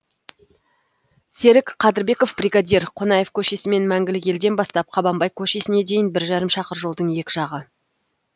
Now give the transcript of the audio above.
серік қадырбеков бригадир қонаев көшесімен мәңгілік елден бастап қабанбай көшесіне дейін бір жарым шақырым жолдың екі жағы